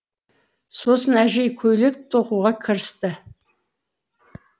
сосын әжей көйлек тоқуға кірісті